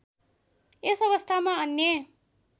यस अवस्थामा अन्य